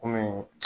Komi